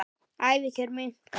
Ævikjör munka